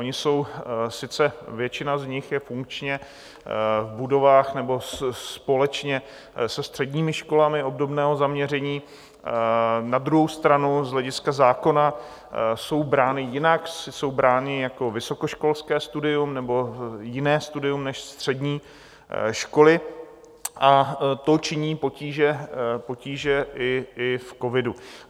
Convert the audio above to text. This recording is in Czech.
Ony jsou sice - většina z nich je -funkčně v budovách nebo společně se středními školami obdobného zaměření, na druhou stranu z hlediska zákona jsou brány jinak, jsou brány jako vysokoškolské studium nebo jiné studium než střední školy, a to činí potíže i v covidu.